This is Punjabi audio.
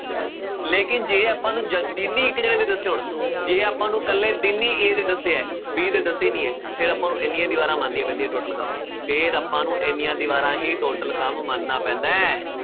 ਲੇਕਿੰਨ ਜੇ ਆਪਾਂ ਨੂੰ ਜ~ ਦੱਸਿਓ ਹੁਣ ਜੇ ਆਪਾਂ ਨੂੰ ਇਕੱਲੇ ਦਿਨ ਹੀ a ਦੇ ਦੱਸੇ ਹੈ b ਦੇ ਦੱਸੇ ਹੀ ਨੀ ਹੈ, ਫਿਰ ਆਪਾਂ ਨੂੰ ਇੰਨੀਆਂ ਦੀਵਾਰਾਂ ਮੰਨਣੀਆਂ ਪੈਂਦੀਆਂ total ਕੰਮ ਫਿਰ ਆਪਾਂ ਨੂੰ ਇੰਨੀਆਂ ਦੀਵਾਰਾਂ ਹੀ total ਕੰਮ ਮੰਨਣਾ ਪੈਂਦਾ ਹੈ।